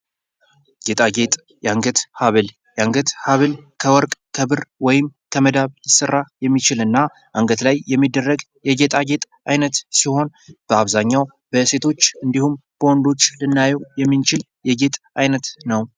ጌጣጌጥ የአንገት ሀብል:- የአንገት ሀብል ከወርቅ፣ ከብር ወይም ከመዳብ ሊሰራ የሚችል እና አንገት ላይ የሚደረግ የጌጣጌጥ አይነት ሲሆን በአብዛኛዉ በሴቶች እና ወንዶች ልናየዉ የምንችል የየጌጥ አይነት ነዉ።